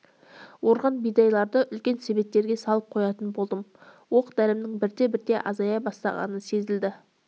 орған бидайларды үлкен себеттерге салып қоятын болдым оқ-дәрімнің бірте-бірте азая бастағаны сезілді